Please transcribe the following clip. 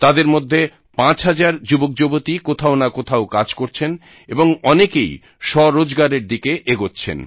তাদের মধ্যে 5000 যুবকযুবতী কোথাও না কোথাও কাজ করছেন এবং অনেকেই স্বরোজগারের দিকে এগোচ্ছেন